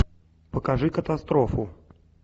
покажи катастрофу